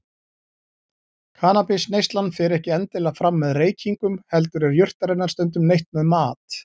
Kannabisneyslan fer ekki endilega fram með reykingum heldur er jurtarinnar stundum neytt með mat.